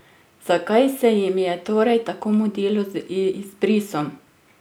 Zakaj se jim je torej tako mudilo z izbrisom?